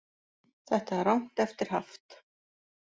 Þetta er rangt eftir haft